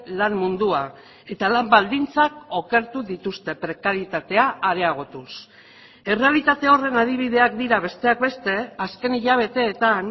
lan mundua eta lan baldintzak okertu dituzte prekaritatea areagotuz errealitate horren adibideak dira besteak beste azken hilabeteetan